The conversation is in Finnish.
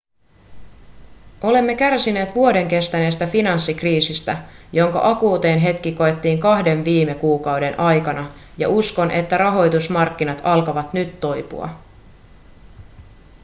olemme kärsineet vuoden kestäneestä finanssikriisistä jonka akuutein hetki koettiin kahden viime kuukauden aikana ja uskon että rahoitusmarkkinat alkavat nyt toipua